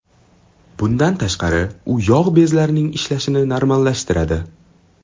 Bundan tashqari, u yog‘ bezlarining ishlashini normallashtiradi.